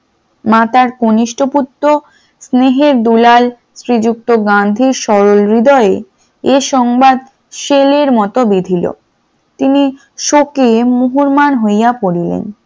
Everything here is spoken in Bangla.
মাথার কনিষ্ঠ পুত্র স্নেহের দুলাল স্ত্রী যুক্ত গান্ধী সরল হৃদয়ে এ সংবাদ সেল এর বিধিল, তিনি শোকে মুহুরমান হইয়া পড়িলেন ।